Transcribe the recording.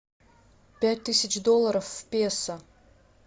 пять тысяч долларов в песо